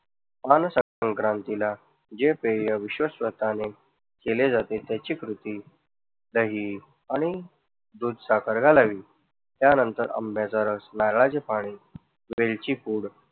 संक्रांतीला जे पेय विशेष केले जाते त्याची कृती दही आणि दूध, साखर घालावी. त्या नंतर आंब्याचा रस, नारळाचे पाणी, वेलची पूड